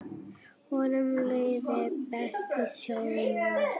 Honum liði best í sjónum.